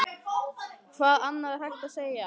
Hvað annað er hægt að segja?